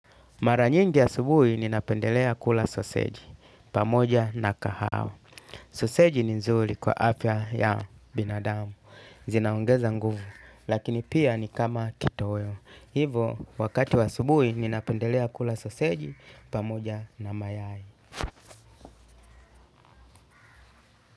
Mara nyingi asubuhi ninapendelea kula soseji pamoja na kahawa. Soseji ni nzuri kwa afya ya binadamu, zinaongeza nguvu, lakini pia ni kama kitoweo. Hivyo, wakati wa asubuhi ninapendelea kula soseji pamoja na mayai.